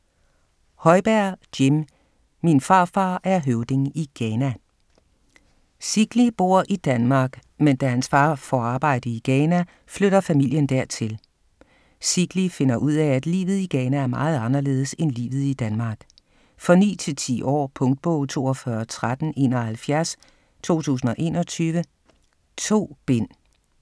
Højberg, Jim: Min farfar er høvding i Ghana Sigli bor i Danmark, men da hans far får arbejde i Ghana, flytter familien dertil. Sigli finder ud af, at livet i Ghana er meget anderledes end livet i Danmark. For 9-10 år. Punktbog 421371 2021. 2 bind.